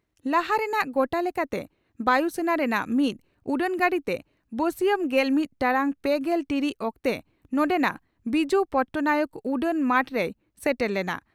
ᱞᱟᱦᱟ ᱨᱮᱱᱟᱜ ᱜᱚᱴᱟ ᱞᱮᱠᱟᱛᱮ 'ᱵᱟᱭᱩ ᱥᱮᱱᱟ' ᱨᱮᱱᱟᱜ ᱢᱤᱫ ᱩᱰᱟᱹᱱᱜᱟᱹᱰᱤ ᱛᱮ ᱵᱟᱹᱥᱤᱭᱟᱹᱢ ᱜᱮᱞᱢᱤᱛ ᱴᱟᱲᱟᱝ ᱯᱮᱜᱮᱞ ᱴᱤᱲᱤᱪ ᱚᱠᱛᱮ ᱱᱚᱰᱮᱱᱟᱜ ᱵᱤᱡᱩ ᱯᱚᱴᱱᱟᱭᱮᱠ ᱩᱰᱟᱹᱱ ᱢᱟᱴ ᱨᱮᱭ ᱥᱮᱴᱮᱨ ᱞᱮᱱᱟ ᱾